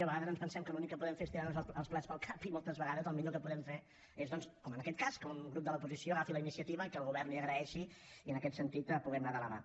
a vegades ens pensem que l’únic que podem fer és tirar nos els plats pel cap i moltes vegades el millor que podem fer és doncs com en aquest cas que un grup de l’oposició agafi la iniciativa i que el govern li agraeixi i en aquest sentit puguem anar de la mà